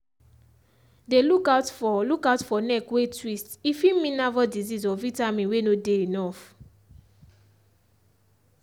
dey look out for look out for neck way twist- e fit mean nervous disease or vitamin way no dey enough.